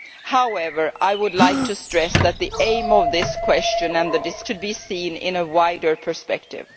However, I would like to stress that the aim of this question and the discussion tonight should be seen in a wider perspective.